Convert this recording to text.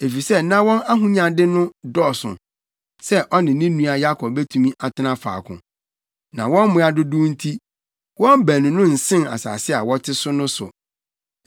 Efisɛ na wɔn ahonyade no dɔɔso sɛ ɔne ne nua Yakob betumi atena faako. Na wɔn mmoa dodow nti, wɔn baanu no nsen asase a wɔte so no so.